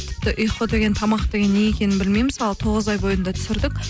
тіпті ұйқы деген тамақ деген не екенін білмей мысалы тоғыз ай бойында түсірдік